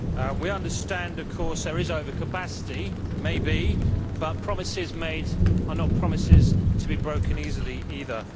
We understand of course that there is overcapacity, maybe, but promises made are not promises to be broken easily either.